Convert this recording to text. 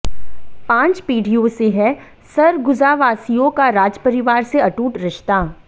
पांच पीढ़ियों से है सरगुजावासियों का राजपरिवार से अटूट रिश्ता